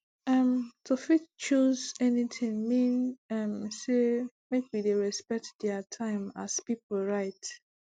um to fit choose anything mean um say make we dey respect dier time as pipu right